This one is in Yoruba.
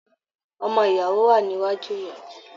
Ọmọ ìyàwó wà níwájú ìyàwó.